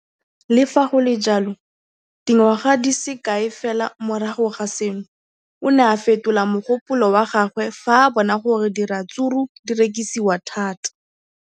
Le fa go le jalo, dingwaga di se kae fela morago ga seno, o ne a fetola mogopolo wa gagwe fa a bona gore diratsuru di rekisiwa thata.